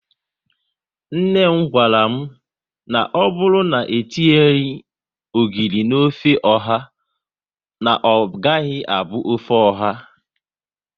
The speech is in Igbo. Nne m gwara m, na ọbụrụ na e tinyeghi ogiri na ofe ọha, na ọ gaghị abụ ofe oha